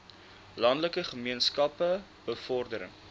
landelike gemeenskappe bevordering